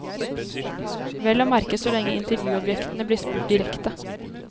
Vel å merke så lenge intervjuobjektene blir spurt direkte.